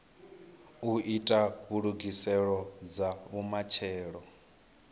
u ita ndugiselo dza vhumatshelo